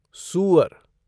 सूअर